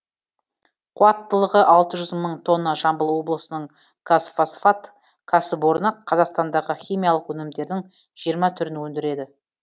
қуаттылығы алты жүз мың тонна жамбыл облысының қазфосфат кәсіпорны қазақстандағы химиялық өнімдердің жиырма түрін өндіреді